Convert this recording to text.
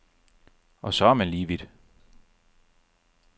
Og så er man lige vidt.